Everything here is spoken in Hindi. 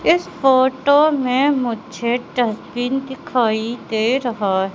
इस फोटो में मुझे डस्टबिन दिखाई दे रहा है।